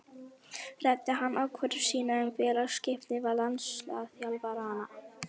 Ræddi hann ákvörðun sína um félagaskiptin við landsliðsþjálfarana?